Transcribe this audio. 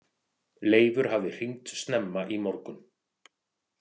Leifur hafði hringt snemma í morgun.